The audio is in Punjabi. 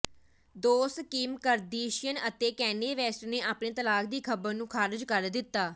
ਦੋਸਤ ਕਿਮ ਕਰਦਸ਼ੀਅਨ ਅਤੇ ਕੈਨੈ ਵੈਸਟ ਨੇ ਆਪਣੇ ਤਲਾਕ ਦੀ ਖ਼ਬਰ ਨੂੰ ਖਾਰਜ ਕਰ ਦਿੱਤਾ